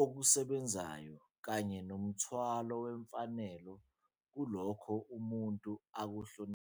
okusebenzayo kanye nomthwalo wemfanelo kulokho umuntu akuhloniphayo.